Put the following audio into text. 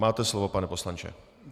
Máte slovo, pane poslanče.